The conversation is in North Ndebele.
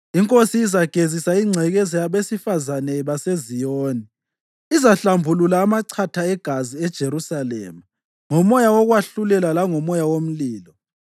INkosi izagezisa ingcekeza yabesifazane baseZiyoni, izahlambulula amachatha egazi eJerusalema ngomoya wokwahlulela langomoya womlilo.